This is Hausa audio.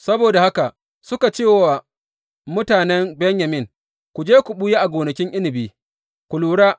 Saboda haka suka cewa mutanen Benyamin, Ku je ku ɓuya a gonakin inabi ku lura.